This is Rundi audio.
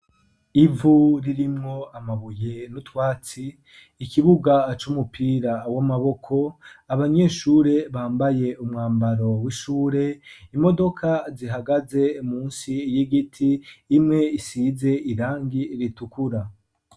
Ivu ririmwo amabuye n'utwatsi, ikibuga ac'umupira w'amaboko abanyeshure bambaye umwambaro w'ishure imodoka zihagaze munsi y'igiti imwe isize irangi ritukura.